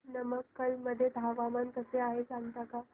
नमक्कल मध्ये हवामान कसे आहे सांगता का